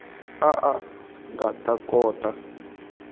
a a nga ta kota